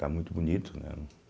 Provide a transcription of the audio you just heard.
Está muito bonito, né?